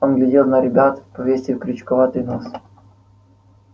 он глядел на ребят повесив крючковатый нос